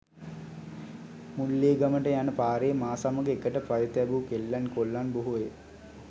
මුල්ලේගමට යන පාරේ මා සමග එකට පය තැබු කෙල්ලන් කොල්ලන් බොහෝය.